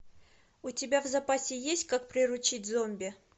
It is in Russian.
у тебя в запасе есть как приручить зомби